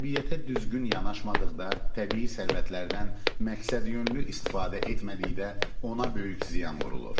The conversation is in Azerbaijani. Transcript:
Təbiətə düzgün yanaşmadıqda, təbii sərvətlərdən məqsədyönlü istifadə etmədikdə ona böyük ziyan vurulur.